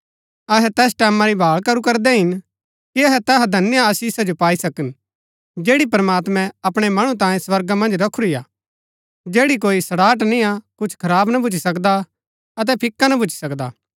अहै तैस टैमां री भाळ करू करदै हिन कि अहै तैहा धन्य आशीष जो पाई सकन जैड़ी प्रमात्मैं अपणै मणु तांये स्वर्गा मन्ज रखुरी हा जैड़ी कोई सड़ाहट निय्आ कुछ खराब ना भूच्ची सकदा अतै फिका ना भूच्ची सकदा